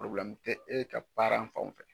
te e ka fanw fɛ